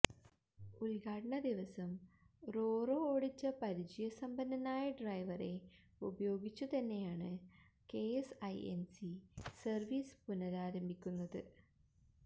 ഉദ്ഘാടന ദിവസം റോറോ ഓടിച്ച പരിചയ സമ്പന്നനായ ഡ്രൈവറെ ഉപയോഗിച്ച് തന്നെയാണ് കെഎസ്ഐഎന്സി സര്വീസ് പുനരാരംഭിക്കുന്നത്